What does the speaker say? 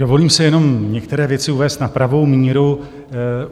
Dovolím si jenom některé věci uvést na pravou míru.